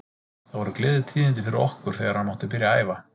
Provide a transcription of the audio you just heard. Það voru gleðitíðindi fyrir okkur þegar hann mátti byrja að æfa.